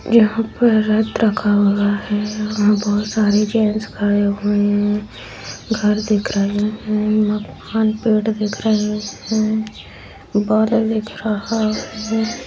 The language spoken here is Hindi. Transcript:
यहाँ पर रथ रखा हुआ है यहाँ पे बहुत सारे जैंट्स खड़े हुए है घर दिख रहे है मकान पेड़ दिख रहे है और बादल दिख रहा है।